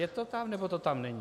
Je to tam, nebo to tam není?